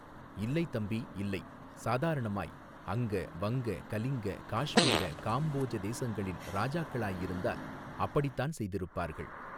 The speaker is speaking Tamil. இல்லை தம்பி இல்லை சாதாரணமாய் அங்க வங்க கலிங்க காஷ்மீர காம்போஜ தேசங்களின் ராஜாக்களாயிருந்தால் அப்படித்தான் செய்திருப்பார்கள்.